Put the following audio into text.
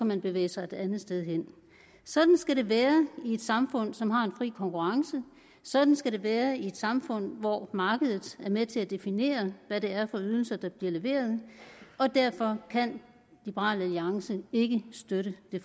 man bevæge sig et andet sted hen sådan skal det være i et samfund som har en fri konkurrence sådan skal det være i et samfund hvor markedet er med til at definere hvad det er for ydelser der bliver leveret og derfor kan liberal alliance ikke støtte det